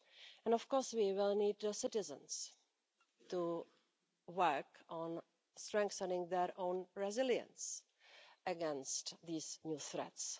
And of course we will need citizens to work on strengthening their own resilience against these new threats.